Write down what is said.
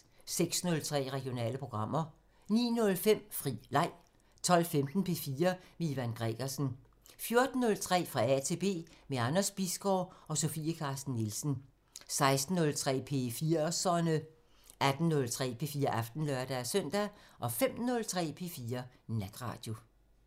06:03: Regionale programmer 09:05: Fri Leg 12:15: P4 med Ivan Gregersen 14:03: Fra A til B – med Anders Bisgaard: Sofie Carsten Nielsen 16:03: P4'serne 18:03: P4 Aften (lør-søn) 05:03: P4 Natradio